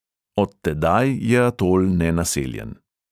Od tedaj je atol nenaseljen.